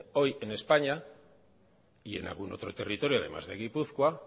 hoy en españa y en algún otro territorio además de gipuzkoa